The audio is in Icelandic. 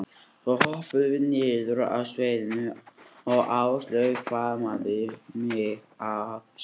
Svo hoppuðum við niður af sviðinu og Áslaug faðmaði mig að sér.